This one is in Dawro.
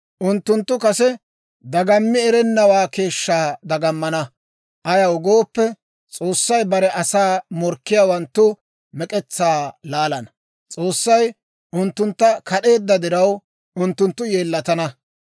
Unttunttu kase dagammi erennawaa keeshshaa dagamana. Ayaw gooppe, S'oossay bare asaa morkkiyaawanttu mek'etsaa laalana. S'oossay unttuntta kad'eedda diraw, unttunttu yeellatana.